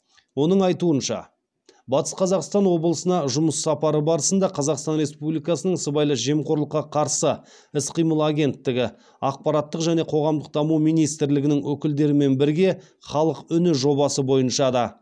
оның айтуынша батыс қазақстан облысына жұмыс сапары барысында қазақстан республикасының сыбайлас жемқорлыққа қарсы іс қимыл агенттігі ақпараттық және қоғамдық даму министрлігінің өкілдерімен бірге халық үні жобасы бойынша да